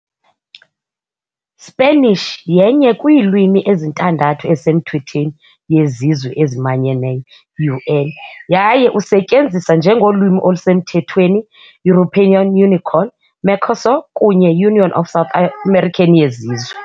Spanish yenye kwiilwimi ezintandathu ezisemthethweni yeZizwe eziManyeneyo, UN, yaye usetyenziswa njengolwimi olusemthethweni European Unicorn, Mercosur kunye Union of South American yeZizwe.